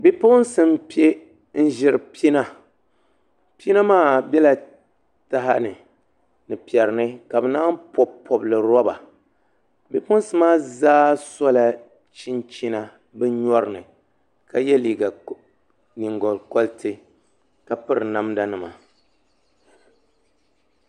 Bipuɣunsi n piɛ n ʒiri pina pina maa biɛla taha ni ni piɛri ni ka bi maan pobi pobili roba bipuɣunsi maa zaa sola chinchina bi nyori ni ka yɛ nyingokoriti ka piri namda nima